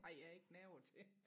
har jeg ikke nerver til